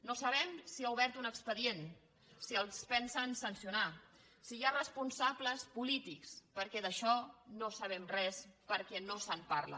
no sabem si ha obert un expedient si els pensen sancionar si hi ha responsables polítics perquè d’això no en sabem res perquè no se’n parla